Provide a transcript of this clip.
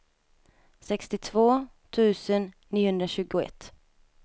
sextiotvå tusen niohundratjugoett